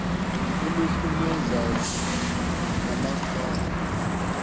uluhlu lwezaci namaqhalo